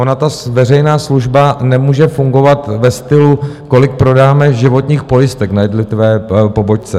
Ona ta veřejná služba nemůže fungovat ve stylu, kolik prodáme životních pojistek na jednotlivé pobočce.